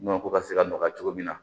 Nɔnɔ ko ka se ka nɔgɔya cogo min na